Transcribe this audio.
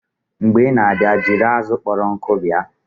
Mgbe ị na-abịa, jiri azụ kpọrọ nkụ bịa!